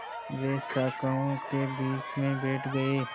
वे शाखाओं के बीच में बैठ गए